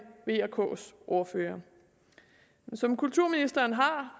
v og ks ordførere som kulturministeren har